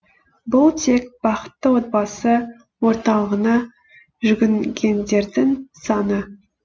бұл тек бақытты отбасы орталығына жүгінгендердің саны